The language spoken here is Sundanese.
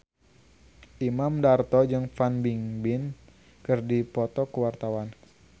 Imam Darto jeung Fan Bingbing keur dipoto ku wartawan